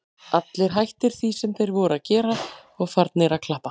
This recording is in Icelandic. Allir hættir því sem þeir voru að gera og farnir að klappa.